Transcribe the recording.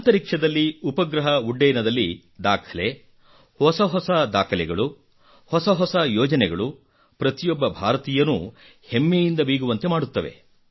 ಅಂತರಿಕ್ಷದಲ್ಲಿ ಉಪಗ್ರಹ ಉಡ್ಡಯನದಲ್ಲಿ ದಾಖಲೆ ಹೊಸ ಹೊಸ ದಾಖಲೆಗಳು ಹೊಸ ಹೊಸ ಯೋಜನೆಗಳು ಪ್ರತಿಯೊಬ್ಬ ಭಾರತೀಯನೂ ಹೆಮ್ಮೆಯಿಂದ ಬೀಗುವಂತೆ ಮಾಡುತ್ತವೆ